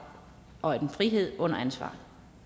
og en frihed under ansvar